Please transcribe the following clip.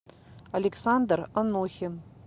александр анохин